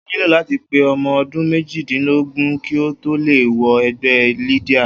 O óò nílò láti pé o̩mo̩ o̩dún méjìdínlógún kí ó tó lè wo̩ e̩gbé̩ Lydia